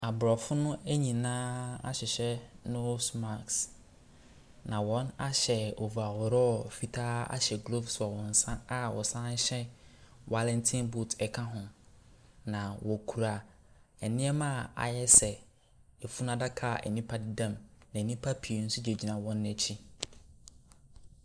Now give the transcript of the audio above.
Aborɔfo no nyinaa ahyehyɛ nose mask na wɔahyɛ overall fitaa ahyɛ gloves wɔ wɔn nsa a wɔhyɛ Wallington boot ka ho. Na wɔkura nneɛma a ayɛ sɛ afunu adaka nipa bi da mu. Na nnipa pii nso gyinagyina wɔn akyi.